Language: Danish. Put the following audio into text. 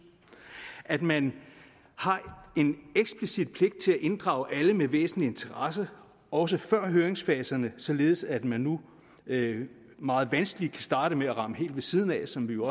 at man har en eksplicit pligt til at inddrage alle med væsentlig interesse også før høringsfaserne således at man nu meget vanskeligt kan starte med at ramme helt ved siden af som vi jo